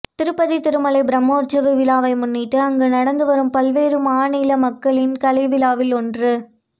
திருப்பதி திருமலை பிரம்மோற்சவ விழாவை முன்னிட்டு அங்கு நடந்து வரும் பல்வேறு மாநில மக்களின் கலைவிழாவில் ஒன்று